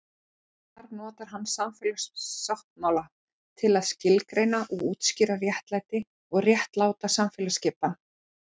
Þar notar hann samfélagssáttmála til að skilgreina og útskýra réttlæti og réttláta samfélagsskipan.